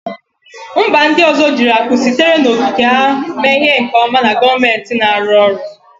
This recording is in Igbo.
Mba ndị ọzọ jiri akụ sitere n'okike ha mee ihe nke ọma na gọọmentị na-arụ ọrụ